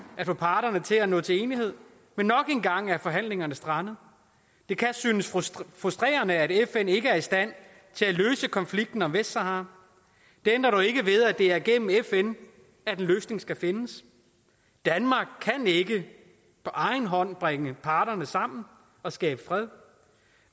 at få parterne til at nå til enighed men nok en gang er forhandlingerne strandet det kan synes frustrerende at fn ikke er i stand til at løse konflikten om vestsahara det ændrer dog ikke ved at det er gennem fn at en løsning skal findes danmark kan ikke på egen hånd bringe parterne sammen og skabe fred